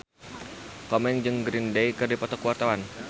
Komeng jeung Green Day keur dipoto ku wartawan